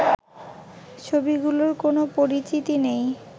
ছবিগুলোর কোনো পরিচিতি নেই